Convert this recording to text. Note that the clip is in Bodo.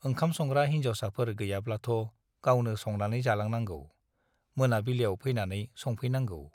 ओंखाम संग्रा हिन्जावसाफोर गैयाब्लाथ' गावनो संनानै जालांनागौ, मोनाबिलियाव फैनानै संफैनांगौ।